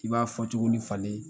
I b'a fɔ cogoni falen